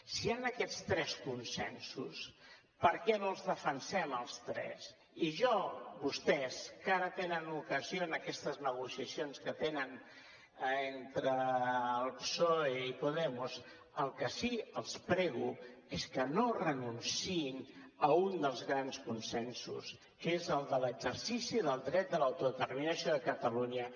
si hi han aquests tres consensos per què no els defensem els tres i jo a vostès que ara tenen l’ocasió en aquestes negociacions que tenen entre el psoe i podemos el que sí els prego és que no renunciïn a un dels grans consensos que és el de l’exercici del dret de l’autodeterminació de catalunya